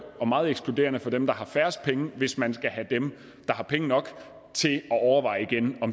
og meget ekskluderende for dem der har færrest penge hvis man skal have dem der har penge nok